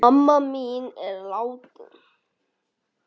Mamma mín er látin.